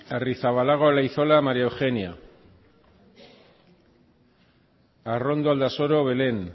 arrizabalaga olaizola maría eugenia arrondo aldasoro belén